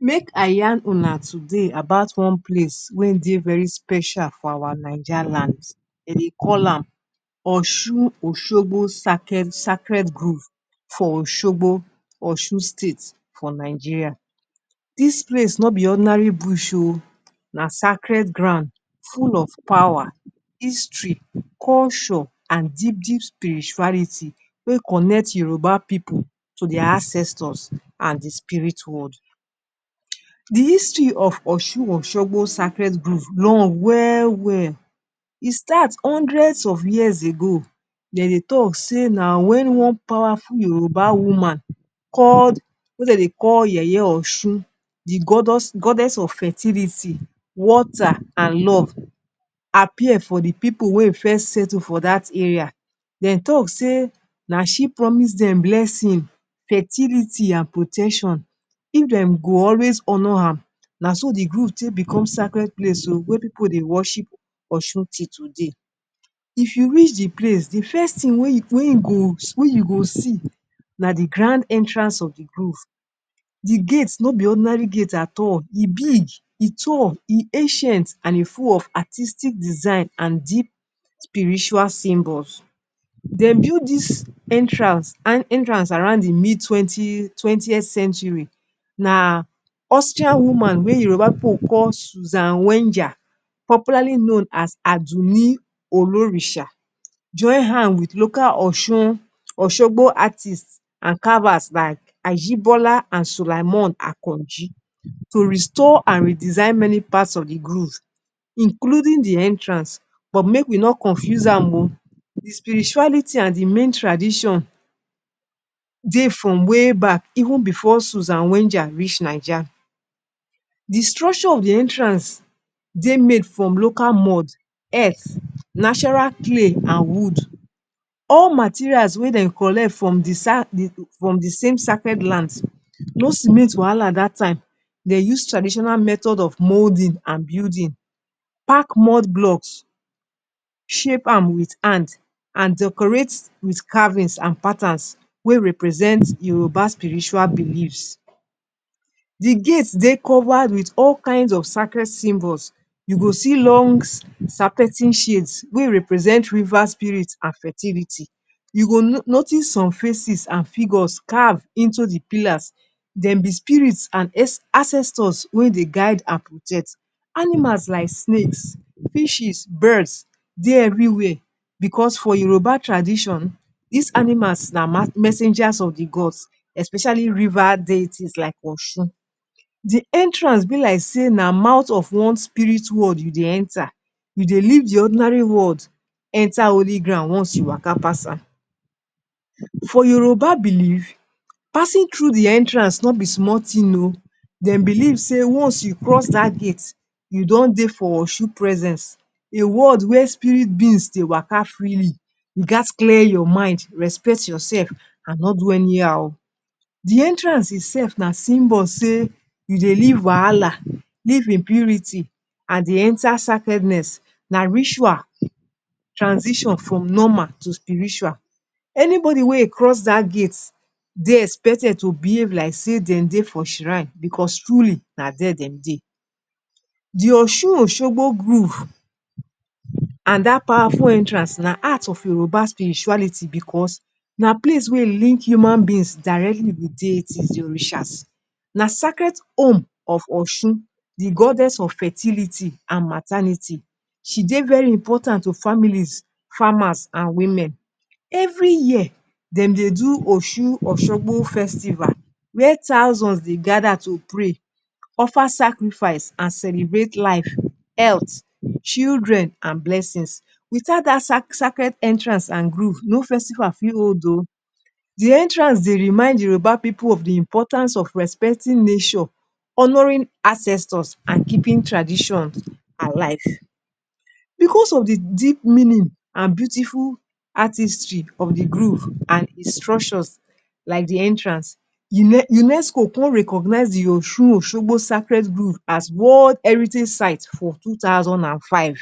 Make I yarn una today about one place wey dey very special for our Naija land. E dey call am Osun-Oshogbo Sacred Grove for Oshogbo, Osun State, for Nigeria. Dis place no be ordinary bush oh, na sacred ground full of power, history, culture and deep, deep spirituality, Wey connect Yoruba Pipu to dia ancestors, and Di spirit world. Di history of Osun-Oshogbo Sacred Grove long wel wel. E start hundreds of years ago. Dey de talk say na wen one powerful Yoruba woman called, wey dey dey Yeye-Osun, Di goddess of fertility, water and love, appear for Di Pipu wey first settle for dat area. Dem talk say, nah, she promised Dem blessing, fertility and protection if Dem go always honor am. Na so di grove take bicom sacred place o, wia Pipu dey worship Osun til today. If you reach Di place, Di first tin wey you go see, na di grand entrance of di grove. Di gates no be ordinary gate at all. e big, e tall, e ancient and e full of artistic design and deep spiritual symbols. Dem build Dis entrance around di mid 20th century. Na Austrian woman Wey Yoruba Pipu call Susanne Wenger, popularly known as Adunni Olorisha, join hand wit local Osun-Oshogbo artists and carvers like Ajibola and Sulaimon Akanji to restore and redesign many parts of Di grove, including Di entrance. But make we not confuse am oh, Di spirituality and Di main tradition Dey from way back even before Susanne Wenger reach Naija. Di structure of di entrance, de made from local mud, earth, natural clay and wood. All materials wey Dem collect from di same sacred lands. No cement wahala dat time. Dem use traditional method of molding and building pack mud blocks, shape am wit hand and decorate wit carvings and patterns wey represent Yoruba spiritual beliefs. Di gates, de covered wit all kinds of sacred symbols. You go see long serpentine shades wey represent river spirits and fertility. You go notice some faces and figures carved into Di pillars. Dem be spirits and ancestors wen de guide and protect. Animals like snakes, fishes, birds, de are evri wia. Bicos for Yoruba tradition, Dis animals na messengers of di gods, especially river deities like Osun. Di entrance be like say na mouth of one spirit world you dey Enta. You dey leave Di ordinary world, Enta holy ground once you waka pass am. For Yoruba belief, passing through Di entrance no be small tin oh. Dem believe say once you cross dat gate, you don dey for Osun presence. A world where spirit beings to waka freely. You gats clear your mind, respect your sef and no do any how oh. Di entrance itself na symbol say you dey leave wahala, leave impurity and dey Enta sacredness. Na ritual transition from normal to spiritual. Anybody wey e cross dat gate, dey expected to behave like say dem dey for shrine bicos truly na dia dem dey. Di Osun-Oshogbo Grove and dat powerful entrance na heart of Yoruba spirituality bicos na place wey link human beings directly wit deities, Di Orishas. Na sacred home of Osun, Di goddess of fertility and maternity. She dey very important to families, farmers and women. Evri year, dem dey do Osun-Oshogbo Festival, wia thousands dey gada to pray, offer sacrifice and celebrate life, health, children and blessings. Wit out dat sacred entrance and grove no festival fit hold oh. Di entrance dey remind Yoruba Pipu of Di importance of respecting nature, honoring ancestors and keeping traditions alive. Bicos of Di deep meaning and beautiful artistry of Di groove and its structures, like Di entrance, UNESCO come recognize Di Osun-Oshogbo Sacred Grove as World Heritage Site for 2005.